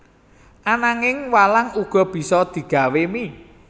Ananging walang uga bisa digawé mie